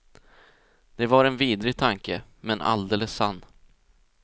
Det var en vidrig tanke, men alldeles sann.